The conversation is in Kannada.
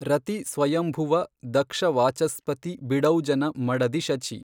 ರತಿ ಸ್ವಯಂಭುವ ದಕ್ಷ ವಾಚಸ್ಪತಿ ಬಿಡೌಜನ ಮಡದಿ ಶಚಿ